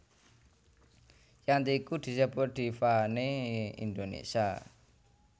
Yanti iku disebut diva né Indonesia